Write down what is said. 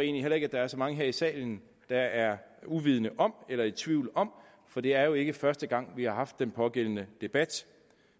egentlig heller ikke der er så mange her i salen der er uvidende om eller i tvivl om for det er jo ikke første gang at vi har haft den pågældende debat